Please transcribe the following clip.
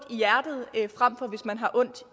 i hjertet frem for hvis man har ondt